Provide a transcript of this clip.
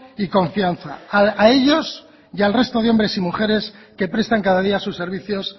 y confianza a ellos y al resto de hombres y mujeres que prestan cada día sus servicios